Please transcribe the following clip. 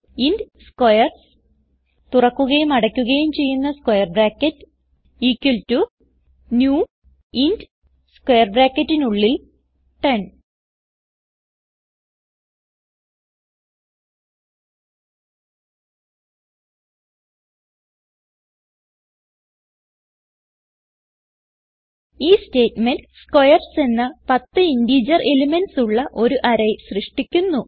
int squares new int 10 ഈ statement squares എന്ന 10 integer elements ഉള്ള ഒരു അറേ സൃഷ്ടിക്കുന്നു